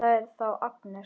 Það er þá Agnes!